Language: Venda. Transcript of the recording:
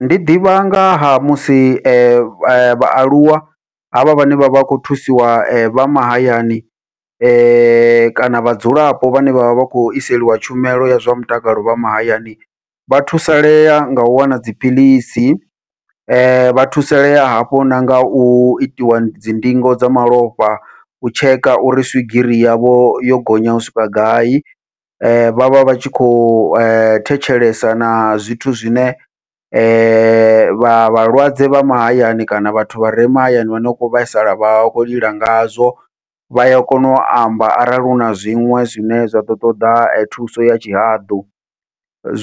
Ndi ḓivha nga ha musi vhaaluwa havha vhane vha vha khou thusiwa vha mahayani, kana vhadzulapo vhane vhavha vha khou iselwa tshumelo ya zwa mutakalo vha mahayani, vha thusalea ngau wana dziphiḽisi vha thusalea hafho na ngau itiwa dzi ndingo dza malofha, u tsheka uri swigiri yavho yo gonya u swika gai vhavha vhatshi khou thetshelesa na zwithu zwine vha vhalwadze vha mahayani kana vhathu vha re mahayani vhane vha kho vhaisala vha khou lila ngazwo. Vha ya kona u amba arali huna zwiṅwe zwine zwa ḓo ṱoḓa thuso ya tshihaḓu,